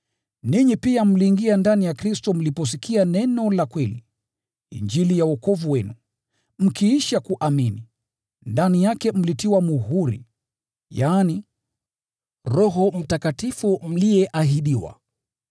Ninyi pia mliingia ndani ya Kristo mliposikia Neno la kweli, Injili ya wokovu wenu. Mkiisha kuamini, ndani yake mlitiwa muhuri, yaani, Roho Mtakatifu mliyeahidiwa,